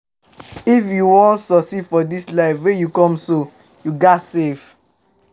If you wan succeed for dis life wey you come so, you ghas save